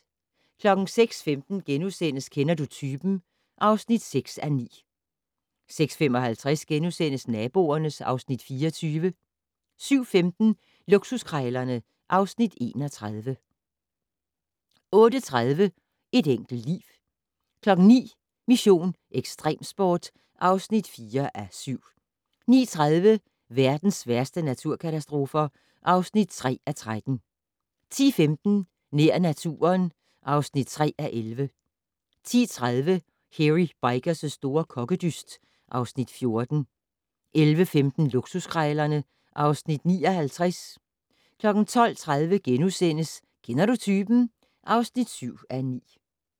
06:15: Kender du typen? (6:9)* 06:55: Naboerne (Afs. 24)* 07:15: Luksuskrejlerne (Afs. 31) 08:30: Et enkelt liv 09:00: Mission: Ekstremsport (4:7) 09:30: Verdens værste naturkatastrofer (3:13) 10:15: Nær naturen (3:11) 10:30: Hairy Bikers' store kokkedyst (Afs. 14) 11:15: Luksuskrejlerne (Afs. 59) 12:30: Kender du typen? (7:9)*